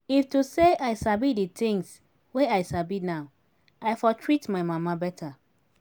if to say i sabi the things wey i sabi now i for treat my mama better